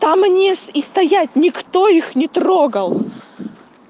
а мне и стоять никто их не трогал